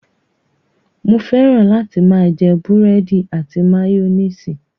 Mo fẹ́ràn láti máa jẹ búrẹ́dì àti máyónísì.